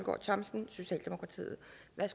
at